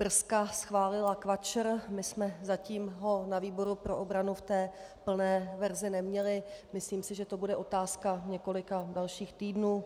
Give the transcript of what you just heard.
Brska schválila KVAČR, my jsme zatím ho na výboru pro obranu v té plné verzi neměli, myslím si, že to bude otázka několika dalších týdnů,